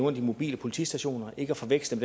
af de mobile politistationer ikke at forveksle